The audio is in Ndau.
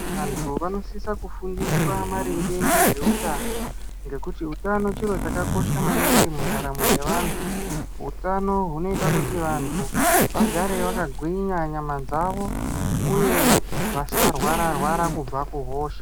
Antu anosisa kufundiswa maringe ngezveutano ngekuti utano chiro chakakosha maningi mundaro yevantu utano hunoita kuti vantu vagare vakagwinya nyama dzavo uye vasarwara rwara kubva muhosha.